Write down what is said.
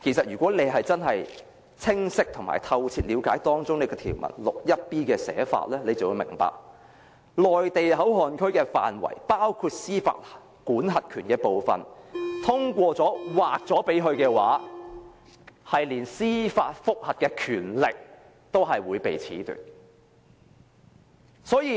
如果大家真的清晰兼透徹了解第 61b 條的寫法，便會明白，內地口岸區的管轄權包括司法管轄權，通過《條例草案》把該範圍劃給內地後，即連司法覆核的權力也被褫奪。